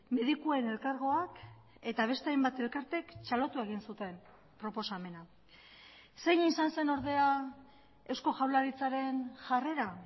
medikuen elkargoak eta beste hainbat elkarteek txalotu egin zuten proposamena zein izan zen ordea eusko jaurlaritzaren jarrera